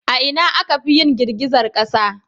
A ina akafi yin girgizar kasa?